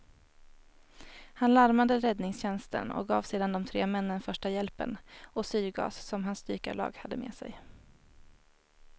Han larmade räddningstjänsten och gav sedan de tre männen första hjälpen och syrgas som hans dykarlag hade med sig.